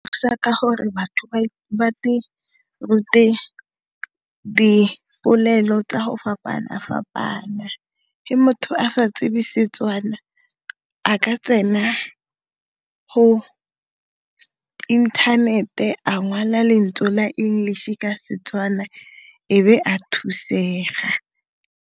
Thusa ka gore batho ba rute dipolelo tsa go fapana-fapana ga motho a sa tsebe Setswana a ka tsena go inthanete a ngwala lentswe la English ka Setswana ebe a thusega.